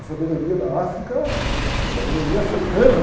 A sabedoria da África, é a sabedoria africana, né?